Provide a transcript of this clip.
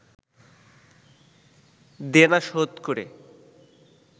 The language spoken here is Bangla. দেনা শোধ করে